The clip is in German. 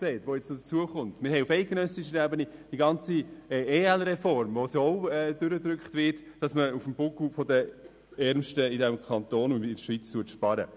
Auf eidgenössischer Ebene haben wir die ganze Reform der Ergänzungsleistungen (EL-Reform), bei der denn auch durchgedrückt wird, dass man auf dem Buckel der Ärmsten in diesem Kanton und der Schweiz spart.